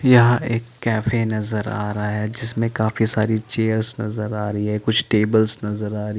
यहाँ एक केफे नजर आ रहा है जिसमे काफी सारी चेयर्स नजर आ रही है कुछ टेबल्स नजर आ रही --